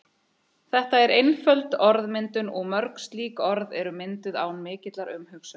Þetta er einföld orðmyndun og mörg slík orð eru mynduð án mikillar umhugsunar.